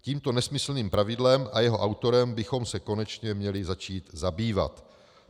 Tímto nesmyslným pravidlem a jeho autorem bychom se konečně měli začít zabývat.